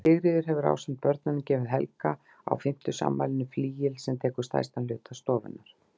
Sigríður hefur ásamt börnunum gefið Helga á fimmtugsafmælinu flygil, sem tekur stærstan hluta stofunnar.